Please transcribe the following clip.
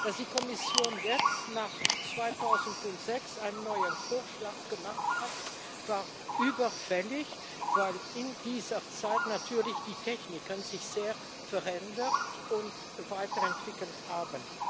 Dass die Kommission jetzt nach 2006 einen neuen Vorschlag gemacht hat, war überfällig, weil sich in dieser Zeit natürlich die Techniken sehr verändert und weiterentwickelt haben.